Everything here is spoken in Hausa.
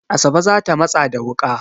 Asabe za ta matsa da wuƙa.